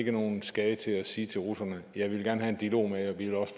er nogen skade til at sige til russerne ja vi vil gerne have en dialog med jer og vi vil